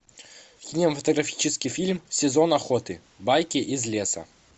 кинематографический фильм сезон охоты байки из леса